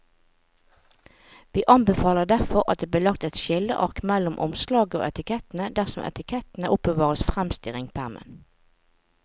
Vi anbefaler derfor at det blir lagt et skilleark mellom omslaget og etikettene dersom etikettene oppbevares fremst i ringpermen.